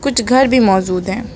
कुछ घर भी मौजूद है।